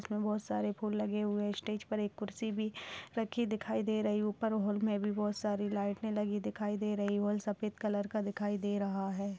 इसमे बहुत सारे फूल लगे हुए स्टेज पे एक कुर्सी भी रखी दिखाई दे रही ऊपर हॉल में भी बहुत सारी लाइटें दिखाई दे रही है हॉल सफेद कलर का दिखाई दे रहा है।